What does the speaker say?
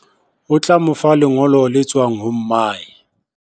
O tla mo fa lengolo le tswang ho mmae.